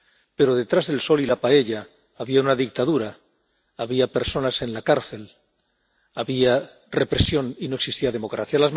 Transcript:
Pero, detrás del sol y de la paella, había una dictadura, había personas en la cárcel, había represión y no existía democracia.